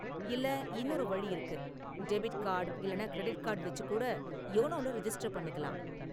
இல்ல இன்னொரு வழி இருக்கு, டெபிட் கார்டு இல்லன்னா கிரெடிட் கார்டு வெச்சு கூட யோனோவுல ரிஜிஸ்டர் பண்ணிக்கலாம்.